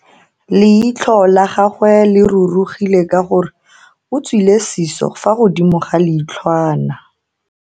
Leitlho la gagwe le rurugile ka gore o tswile siso fa godimo ga leitlhwana.